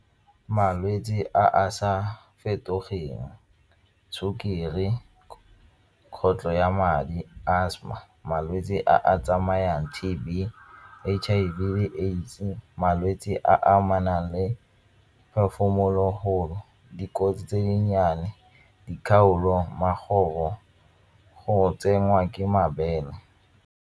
Malwetse a a sa fetogeng sukiri ya madi asthma. Malwetse a a tsamayang T_B, H_I_V le AIDS-e, malwetse a amanang le dikotsi tse dinnyane dikgaolo go tsenngwa ke mabele.